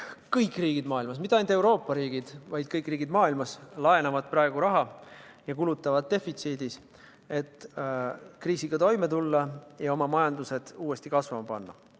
Kõik riigid maailmas – mitte ainult Euroopa riigid, vaid kõik riigid maailmas – laenavad praegu raha ja kulutavad defitsiidis, et kriisiga toime tulla ja oma majandus uuesti kasvama panna.